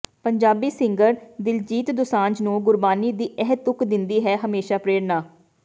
Punjabi singer Diljit Dosanjh ਨੂੰ ਗੁਰਬਾਣੀ ਦੀ ਇਹ ਤੁਕ ਦਿੰਦੀ ਹੈ ਹਮੇਸ਼ਾ ਪ੍ਰੇਰਨਾ